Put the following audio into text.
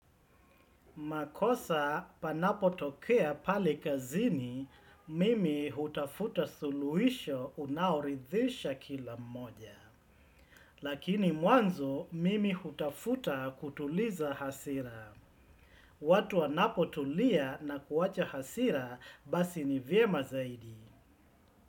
Makosa panapo tokea pale kazini, mimi hutafuta suluhisho unaoridhisha kila moja. Lakini mwanzo, mimi hutafuta kutuliza hasira. Watu wanapo tulia na kuwacha hasira, basi ni vyema zaidi.